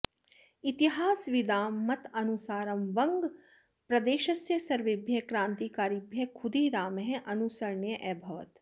इतिहासविदां मतानुसारं वङ्गप्रदेशस्य सर्वेभ्यः क्रान्तिकारिभ्यः खुदीरामः अनुसरणीयः अभवत्